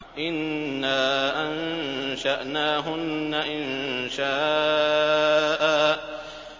إِنَّا أَنشَأْنَاهُنَّ إِنشَاءً